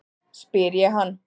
spyr ég hann.